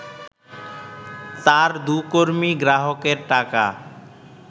তার দু’কর্মী গ্রাহকের টাকা